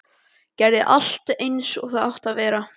Gerði allt aftur eins og það átti að vera.